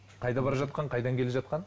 қайда бара жатқан қайдан келе жатқан